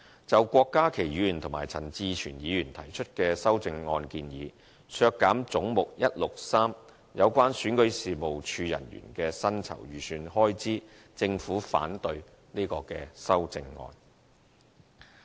就郭家麒議員及陳志全議員提出的修正案建議，削減總目163有關選舉事務處人員的薪酬預算開支，政府反對這項修正案。